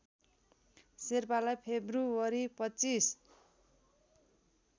शेर्पालाई फेब्रुअरी २५